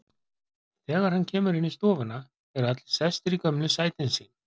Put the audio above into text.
Þegar hann kemur inn í stofuna eru allir sestir í gömlu sætin sín.